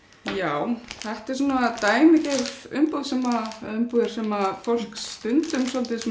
já þetta eru dæmigerðar umbúðir sem umbúðir sem fólk stundum